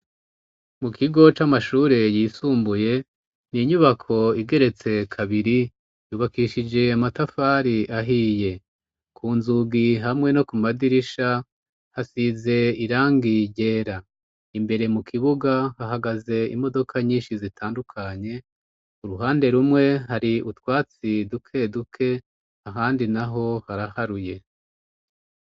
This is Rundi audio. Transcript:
Mu kigo c'amashure yisumbuye ni inyubako igeretse kabiri yubakishije matafari ahiye ku nzugi hamwe no ku madirisha hasize irangi ryera imbere mu kibuga hahagaze imodoka nyinshi zitandukanye u ruhande rumwe hari utwatsi duke duke ahandi na ho haraharuye.